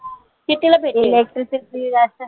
कितीला भेटेल